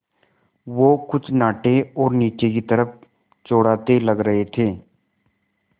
वो कुछ नाटे और नीचे की तरफ़ चौड़ाते लग रहे थे